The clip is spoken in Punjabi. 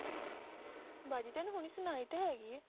ਬਾਜੀ ਤੈਨੂੰ ਹੁਣੀ ਸੁਣਾਈ ਤਾਂ ਹੈਗੀ ਹੈ